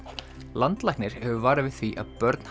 landlæknir hefur varað við því að börn